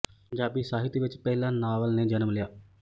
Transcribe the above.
ਪੰਜਾਬੀ ਸਾਹਿਤ ਵਿੱਚ ਪਹਿਲਾਂ ਨਾਵਲ ਨੇ ਜਨਮ ਲਿਆ